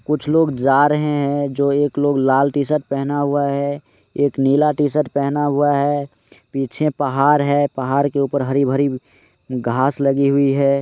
कुछ लोग जा रहे हैं जो एक लोग ने लाल टी -शर्ट पहना हुआ है एक नीला टी-शर्ट पहना हुआ है पीछे पहाड़ है पहाड़ के ऊपर हरी भरी घास लगी हुई है।